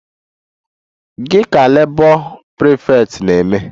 Gị ka Labour prefect na-eme?